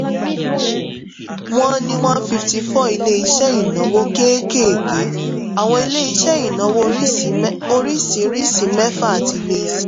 wọ́n ní one fifty four ilé iṣẹ́ ìnáwó kéékèèké àwọn ilé iṣẹ́ ìnáwó oríṣiríṣi mẹ́fà àti ilé iṣẹ́